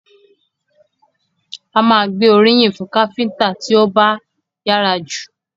A máa gbé oríyìn fún káfíńńtà tí ó bá yára jù.